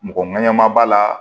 Mɔgɔ ŋɛɲɛnama b'a la